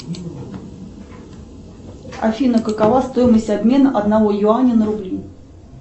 афина какова стоимость обмена одного юаня на рубли